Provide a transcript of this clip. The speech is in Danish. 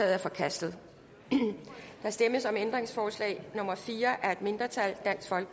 er forkastet der stemmes om ændringsforslag nummer fire af et mindretal